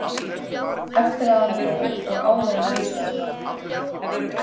Eftir að hann dó og áður en húsið hans brann til grunna.